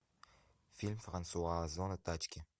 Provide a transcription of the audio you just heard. фильм франсуа озона тачки